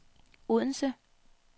Odense